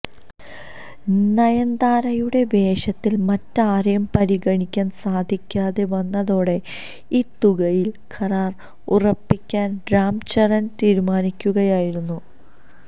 നയൻതാരയുടെ വേഷത്തിൽ മറ്റാരെയും പരിഗണിക്കാൻ സാധിക്കാതെ വന്നതോടെ ഈ തുകയിൽ കരാർ ഉറപ്പിക്കാൻ രാം ചരൺ തീരുമാനിക്കുകയായിരുന്നു